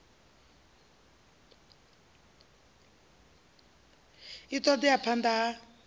a ṱo ḓea phanḓa ha